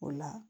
O la